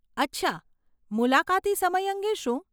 અચ્છા, મુલાકાતી સમય અંગે શું?